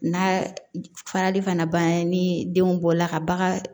N'a farali fana banna ni den bɔla ka bagan